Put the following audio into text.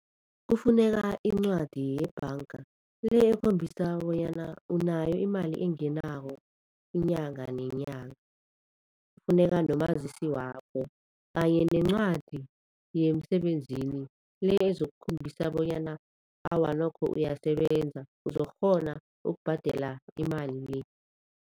Kufuneka incwadi yebhanga, le ekhombisa bonyana unayo imali engenako inyanga nenyanga. Kufuneka nomazisi wakho kanye nencwadi yemsebenzini, le ezokukhombisa bonyana awa nokho uyasebenza uzokukghona ukubhadela imali le.